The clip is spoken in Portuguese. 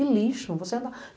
Um lixo. Você anda...